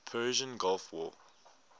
persian gulf war